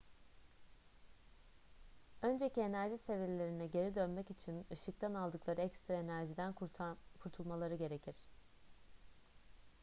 önceki enerji seviyelerine geri dönmek için ışıktan aldıkları ekstra enerjiden kurtulmaları gerekir